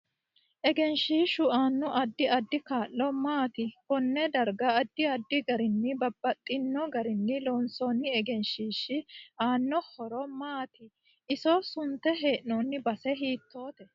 Egenshiishu aaano addi addi kaa'lo maati konee darga addi addi garini babaxino garinni lonsooni egenahiishi aano horo maati iso sunte heenooni base hiitooote